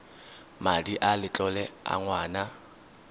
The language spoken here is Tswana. madi a letlole a ngwana